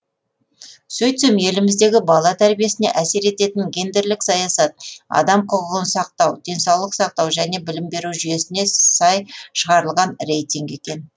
сөйтсем еліміздегі бала тәрбиесіне әсер ететін гендерлік саясат адам құқығын сақтау денсаулық сақтау және білім беру жүйесіне сай шығарылған рейтинг екен